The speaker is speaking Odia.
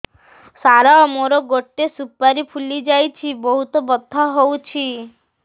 ସାର ମୋର ଗୋଟେ ସୁପାରୀ ଫୁଲିଯାଇଛି ବହୁତ ବଥା ହଉଛି